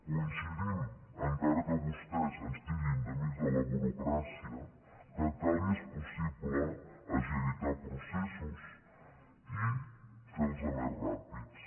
coincidim encara que vostès ens titllin d’amics de la burocràcia que cal i és possible agilitar processos i fer los més ràpids